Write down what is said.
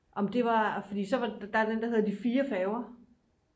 om det var fordi der er den der hedder de 4 færger